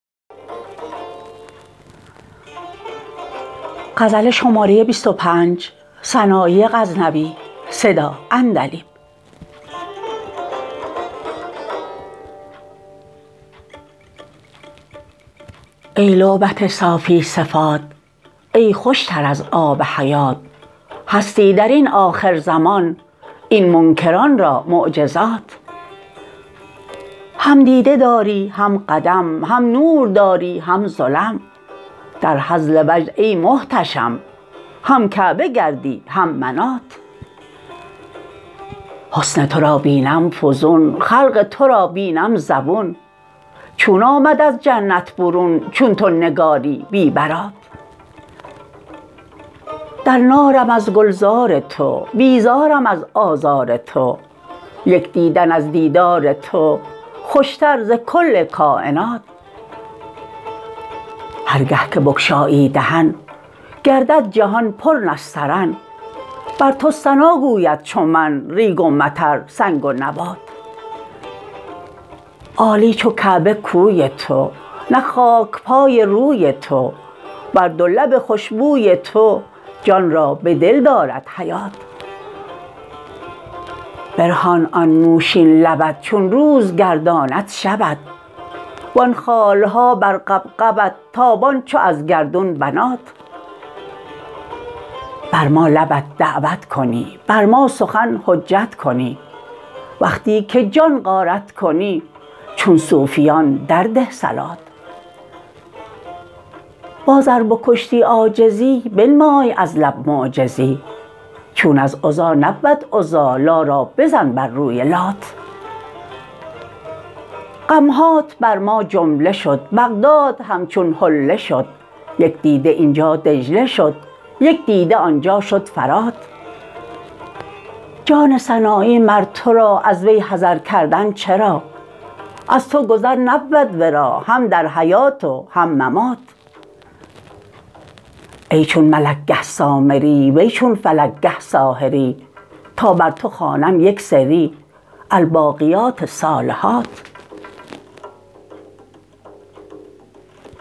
ای لعبت صافی صفات ای خوشتر از آب حیات هستی درین آخر زمان این منکران را معجزات هم دیده داری هم قدم هم نور داری هم ظلم در هزل وجد ای محتشم هم کعبه گردی هم منات حسن ترا بینم فزون خلق ترا بینم زبون چون آمد از جنت برون چون تو نگاری بی برات در نارم از گلزار تو بیزارم از آزار تو یک دیدن از دیدار تو خوشتر ز کل کاینات هر گه که بگشایی دهن گردد جهان پر نسترن بر تو ثنا گوید چو من ریگ و مطر سنگ و نبات عالی چو کعبه کوی تو نه خاکپای روی تو بر دو لب خوشبوی تو جان را به دل دارد حیات برهان آن نوشین لبت چون روز گرداند شبت وان خالها بر غبغبت تابان چو از گردون بنات بر ما لبت دعوت کنی بر ما سخن حجت کنی وقتی که جان غارت کنی چون صوفیان در ده صلات باز ار بکشتی عاجزی بنمای از لب معجزی چون از عزی نبود عزی لا را بزن بر روی لات غمهات بر ما جمله شد بغداد همچون حله شد یک دیده اینجا دجله شد یک دیده آنجا شد فرات جان سنایی مر ترا از وی حذر کردن چرا از تو گذر نبود ورا هم در حیات و هم ممات ای چون ملک گه سامری وی چون فلک گه ساحری تا بر تو خوانم یک سری الباقیات الصالحات